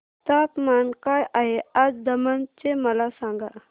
तापमान काय आहे आज दमण चे मला सांगा